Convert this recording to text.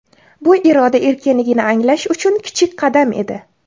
Bu iroda erkinligini anglash uchun kichik qadam edi.